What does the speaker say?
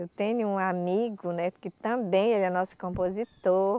Eu tenho um amigo, né, que também ele é nosso compositor.